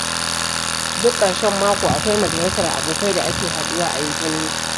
Duk ƙarshen mako akwai majalisar abokai da ake haɗuwa a yi zumunci.